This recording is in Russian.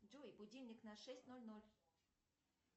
джой будильник на шесть ноль ноль